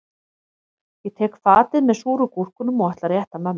Ég tek fatið með súru gúrkunum og ætla að rétta mömmu það